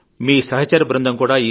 మీ సహచర బృందం కూడా